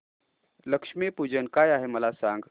लक्ष्मी पूजन काय आहे मला सांग